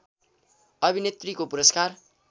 अभिनेत्री को पुरस्कार